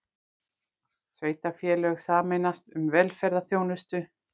Sveitarfélög sameinast um velferðarþjónustu